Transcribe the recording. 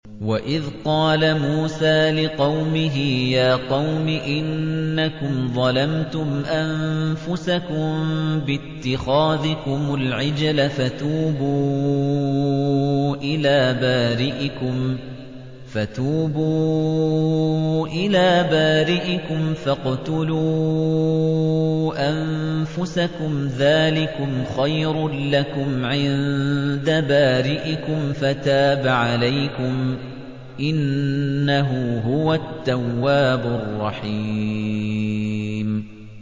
وَإِذْ قَالَ مُوسَىٰ لِقَوْمِهِ يَا قَوْمِ إِنَّكُمْ ظَلَمْتُمْ أَنفُسَكُم بِاتِّخَاذِكُمُ الْعِجْلَ فَتُوبُوا إِلَىٰ بَارِئِكُمْ فَاقْتُلُوا أَنفُسَكُمْ ذَٰلِكُمْ خَيْرٌ لَّكُمْ عِندَ بَارِئِكُمْ فَتَابَ عَلَيْكُمْ ۚ إِنَّهُ هُوَ التَّوَّابُ الرَّحِيمُ